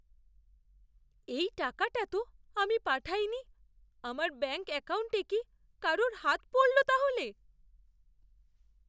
এই টাকাটা তো আমি পাঠাইনি। আমার ব্যাঙ্ক অ্যাকাউন্টে কি কারুর হাত পড়ল তাহলে?